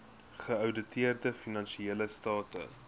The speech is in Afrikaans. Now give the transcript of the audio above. geouditeerde finansiële state